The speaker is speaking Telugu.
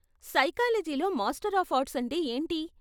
సైకాలజీ లో మాస్టర్ ఆఫ్ ఆర్ట్స్ అంటే ఏంటి?